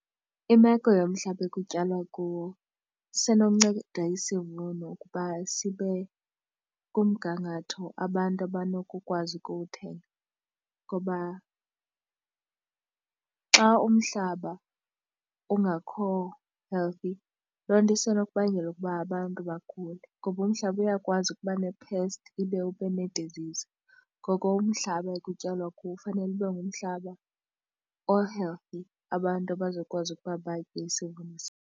Imeko yomhlaba ekutyalwa kuwo isenokunceda isivuno ukuba sibe kumgangatho abantu abanokukwazi ukuwuthenga ngoba xa umhlaba ungakho-healthy loo nto isenokubangela ukuba abantu bagule. Ngoba umhlaba uyakwazi ukuba ne-pest ibe ube ne-disease. Ngoko umhlaba ekutyalwa kuwo ufanele ube ngumhlaba o-healthy abantu abazokwazi ukuba batye isivuno .